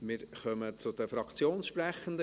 Wir kommen zu den Fraktionssprechenden.